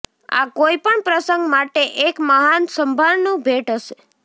આ કોઈપણ પ્રસંગ માટે એક મહાન સંભારણું ભેટ હશે